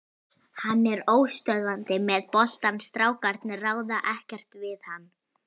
Hann er óstöðvandi með boltann, strákarnir ráða ekkert við hann.